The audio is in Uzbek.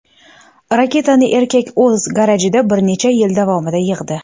Raketani erkak o‘z garajida bir necha yil davomida yig‘di.